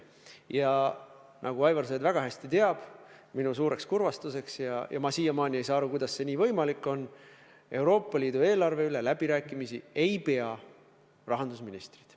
Ja nagu Aivar Sõerd väga hästi teab – minu suureks kurvastuseks ja ma siiamaani ei saa aru, kuidas see võimalik on –, Euroopa Liidu eelarve üle läbirääkimisi ei pea rahandusministrid.